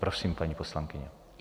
Prosím, paní poslankyně.